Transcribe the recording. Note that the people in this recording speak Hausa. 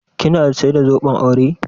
Kina sayar da zoben aure?